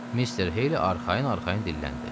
Mister Heyli arxayın-arxayın dilləndi.